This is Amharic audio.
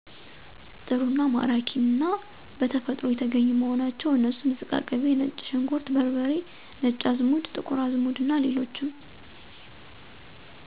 ጥሩ አና ማራኪ አና በተፈጥሮ የተገኙ መሆናቸው። አነሱም ዝቃቅቤ፣ ነጭ ሽንኩርት በርበሬ፣ ነጭ አዘሙድ፣ ጥቁር አዝሙድ አና ሌሎችም